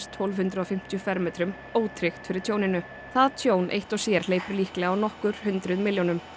tólf hundruð og fimmtíu fermetrum ótryggt fyrir tjóninu það tjón eitt og sér hleypur líklega á nokkur hundruð milljónum